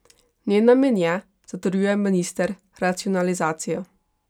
Njen namen je, zatrjuje minister, racionalizacija.